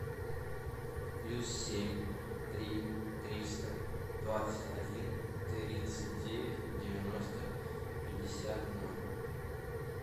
плюс семь три триста двадцать один тридцать девять девяносто пятьдесят ноль